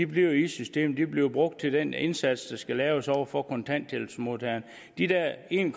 bliver i systemet de bliver brugt til den indsats der skal laves over for kontanthjælpsmodtagerne de der en